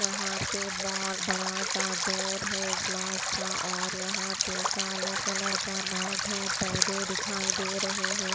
यहाँ पे बहुत बड़ा सा डोर है ग्लास का और यहाँ पे काले कलर का मैट है पौधे दिखाई दे रहे हैं।